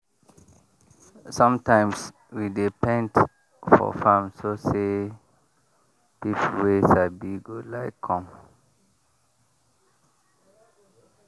sometimes we dey paint for farm so say people wey sabi go like come.